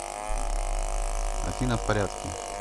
афина в порядке